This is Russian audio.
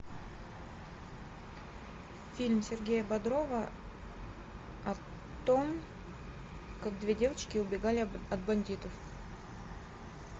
фильм сергея бодрова о том как две девочки убегали от бандитов